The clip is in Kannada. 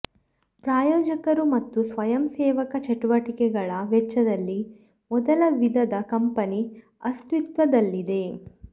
ಪ್ರಾಯೋಜಕರು ಮತ್ತು ಸ್ವಯಂಸೇವಕ ಚಟುವಟಿಕೆಗಳ ವೆಚ್ಚದಲ್ಲಿ ಮೊದಲ ವಿಧದ ಕಂಪನಿ ಅಸ್ತಿತ್ವದಲ್ಲಿದೆ